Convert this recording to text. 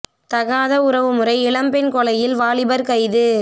தகாத உறவு முறை இளம்பெண் கொலையில் வாலிபர் கைது